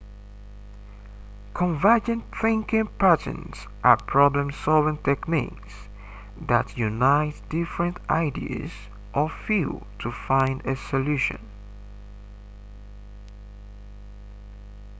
convergent thinking patterns are problem solving techniques that unite different ideas or fields to find a solution